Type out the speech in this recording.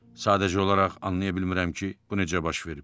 Sadəcə olaraq anlaya bilmirəm ki, bu necə baş verib?